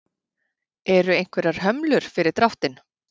Eru einhverjar hömlur fyrir dráttinn?